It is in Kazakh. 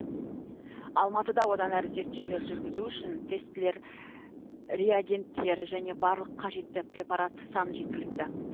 алматыда одан әрі зерттеулер жүргізу үшін тестілер реагенттер және барлық қажетті препарат саны жеткілікті